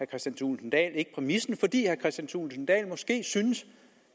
kristian thulesen dahl ikke præmissen fordi herre kristian thulesen dahl måske synes